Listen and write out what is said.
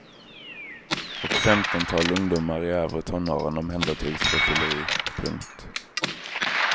Ett femtontal ungdomar i övre tonåren omhändertogs för fylleri. punkt